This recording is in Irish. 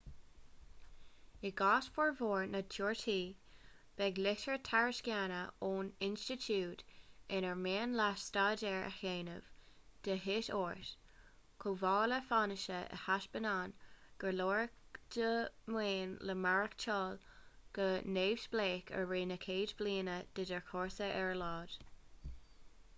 i gcás formhór na dtíortha beidh litir tairisceana ón institiúid inar mian leat staidéar a dhéanamh de dhíth ort chomh maith le fianaise a thaispeánann gur leor do mhaoin le maireachtáil go neamhspleách i rith na chéad bhliana de do chúrsa ar a laghad